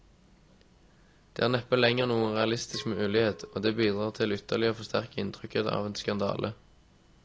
Dette er neppe lenger noen realistisk mulighet, og det bidrar til ytterligere å forsterke inntrykket av skandale.